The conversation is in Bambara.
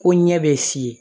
Ko ɲɛ bɛ si ye